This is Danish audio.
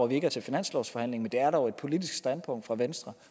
vi ikke er til finanslovsforhandling men det er dog et politisk standpunkt fra venstres